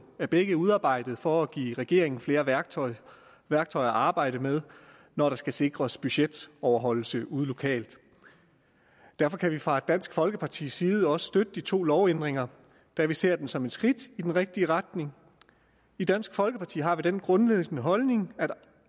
og er begge udarbejdet for at give regeringen flere værktøjer værktøjer at arbejde med når der skal sikres budgetoverholdelse ude lokalt derfor kan vi fra dansk folkepartis side også støtte de to lovændringer da vi ser dem som et skridt i den rigtige retning i dansk folkeparti har vi den grundlæggende holdning